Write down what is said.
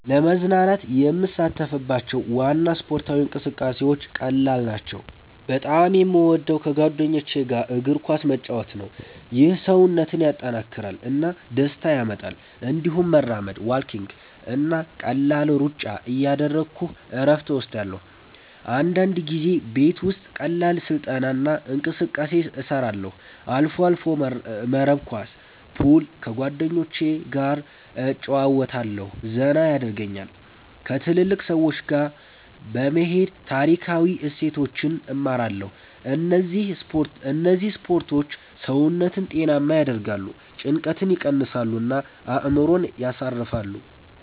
ለመዝናናት የምሳተፍባቸው ዋና ስፖርታዊ እንቅስቃሴዎች ቀላል ናቸው። በጣም የምወደው ከጓደኞች ጋር እግር ኳስ መጫወት ነው። ይህ ሰውነትን ያጠናክራል እና ደስታ ያመጣል። እንዲሁም መራመድ (walking) እና ቀላል ሩጫ እያደረግሁ እረፍት እወስዳለሁ። አንዳንድ ጊዜ ቤት ውስጥ ቀላል ስልጠና እና እንቅስቃሴ እሰራለሁ። አልፎ አልፎ መረብ ኳስ፣ ፑል ከጓደኞቸ ገ እጨረወታለሁ ዘና የደርጉኛል። ከትልልቅ ሰዎች ጋ በመሄድ ታሪካዊ እሴቶችን እማራለሁ እነዚህ ስፖርቶች ሰውነትን ጤናማ ያደርጋሉ፣ ጭንቀትን ይቀንሳሉ እና አእምሮን ያሳርፋሉ።